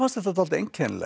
dálítið einkennilegt